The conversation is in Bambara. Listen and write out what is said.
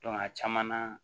a caman na